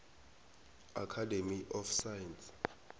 academy of science